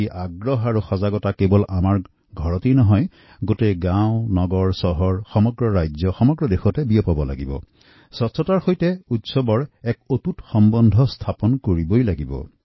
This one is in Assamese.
সাৰ্বজনীন ভাৱে স্বচ্ছতা কেৱল আমাৰ ঘৰখনেই নহয় প্ৰতিখন গাওঁ চহৰ আমাৰ ৰাজ্য আমাদৰ দেশত এই স্বচ্ছতা আৰু উৎসৱক আমি এডাল সুঁতাৰে চিগিব নোৱাৰাকৈ বান্ধিব লাগিব